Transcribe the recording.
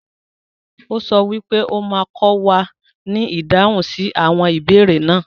O sọ wípé o ma kọ wà ní ìdáhùn sí àwọn ìbéèrè náà.